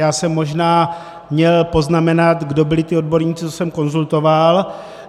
Já jsem možná měl poznamenat, kdo byli ti odborníci, co jsem konzultoval.